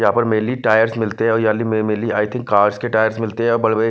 यहाँ पर mainly tyres मिलते हैं या अली में मेनली आई थिंक कार्स के टायर्स मिलते हैं। बड़े-बड़े --